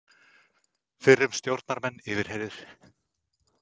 Fyrrum stjórnarmenn yfirheyrðir